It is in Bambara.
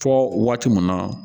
Fɔ waati mun na